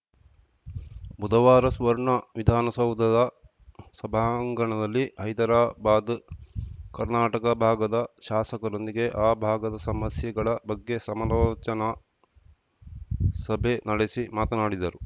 ಬುಧವಾರ ಸುವರ್ಣ ವಿಧಾನಸೌಧದ ಸಭಾಂಗಣದಲ್ಲಿ ಹೈದರಾಬಾದ್‌ ಕರ್ನಾಟಕ ಭಾಗದ ಶಾಸಕರೊಂದಿಗೆ ಆ ಭಾಗದ ಸಮಸ್ಯೆಗಳ ಬಗ್ಗೆ ಸಮಾಲೋಚನಾ ಸಭೆ ನಡೆಸಿ ಮಾತನಾಡಿದರು